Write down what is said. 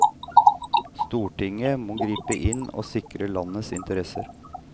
Stortinget må gripe inn og sikre landets interesser.